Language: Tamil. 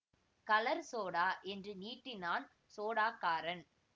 கலர் சோடா என்று நீட்டினான் ஸோடாக்காரன்